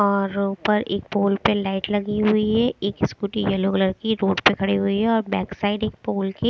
और ऊपर एक पोल पे लाइट लगी हुई है। एक स्कूटी येलो कलर की रोड पे खड़ी हुई है और बैक साइड एक पोल के--